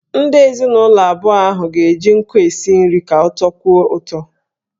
Ndị ezinụlọ abụọ ahụ ga-eji nkụ esi nri ka ọ tọkwuo ụtọ.